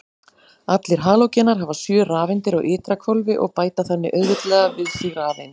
Allir halógenar hafa sjö rafeindir á ytra hvolfi og bæta þannig auðveldlega við sig rafeind.